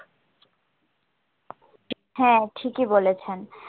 হ্যাঁ ঠিকই বলেছেন